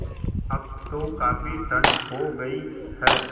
अब तो काफ़ी ठण्ड हो गयी है